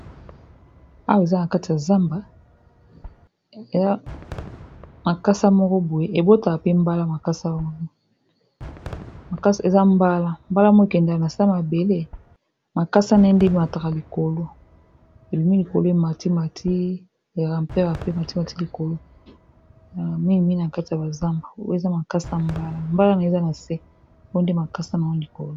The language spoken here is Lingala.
wa makasa moko boye ebotaka pe mbala mbalamo ekendela na se mabele makasa na e ndi matka likolo ebimi likolo ye matimati eramperape matima ti likolo mm0 na kati ya bazamba eza makasa mbala mbala na eza na se po nde makasa na wa likolo.